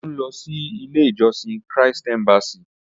Òjó ń lọ sí ilé ìjósìn Christ embassy.